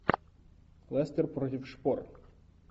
лестер против шпор